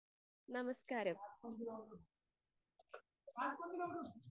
നമസ്ക്കാരം